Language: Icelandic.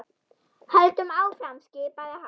Höldum áfram skipaði hann.